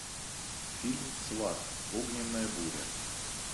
фильм сват огненная буря